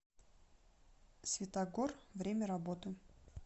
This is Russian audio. святогор время работы